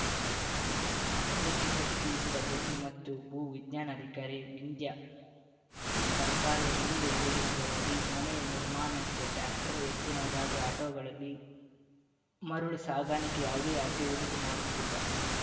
ಇದಕ್ಕೆ ಪ್ರತಿಕ್ರಿಯಿಸಿದ ಗಣಿ ಮತ್ತು ಭೂವಿಜ್ಞಾನಾಧಿಕಾರಿ ವಿಂದ್ಯಾ ಸರ್ಕಾರದ ವಿವಿಧ ಯೋಜನೆಗಳ ಅಡಿ ಮನೆ ನಿರ್ಮಾಣಕ್ಕೆ ಟ್ರ್ಯಾಕ್ಟರ್‌ ಎತ್ತಿನಗಾಡಿ ಅಟೋಗಳಲ್ಲಿ ಮರಳು ಸಾಗಣಿಕೆ ಯಾವುದೇ ಅಡ್ಡಿ ಉಂಟು ಮಾಡುತ್ತಿಲ್ಲ